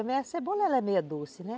Também a cebola , ela é meio doce, né?